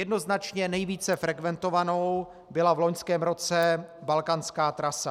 Jednoznačně nejvíce frekventovanou byla v loňském roce balkánská trasa.